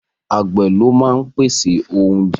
Àgbẹ̀ ló máa ń pèsè oúnjẹ